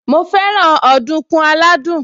Mo fẹ́ràn ọ̀dùnkún aládùn